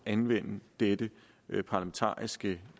anvende dette parlamentariske